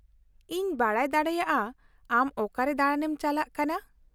-ᱤᱧ ᱵᱟᱰᱟᱭ ᱫᱟᱲᱮᱭᱟᱜᱼᱟ ᱟᱢ ᱚᱠᱟᱨᱮ ᱫᱟᱬᱟᱱᱮᱢ ᱪᱟᱞᱟᱜ ᱠᱟᱱᱟ ?